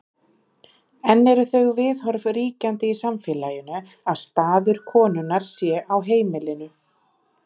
Enn eru þau viðhorf ríkjandi í samfélaginu að staður konunnar sé á heimilinu.